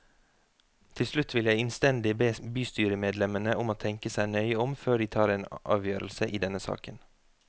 Til slutt vil jeg innstendig be bystyremedlemmene om å tenke seg nøye om før de tar en avgjørelse i denne saken.